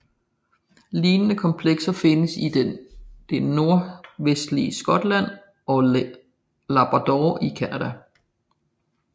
Lignende komplekser findes i det nordvestlige Skotland og Labrador i Canada